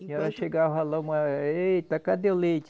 E ela chegava lá, uma, eh. Eita, cadê o leite?